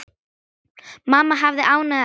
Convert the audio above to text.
Mamma hafði ánægju af söng.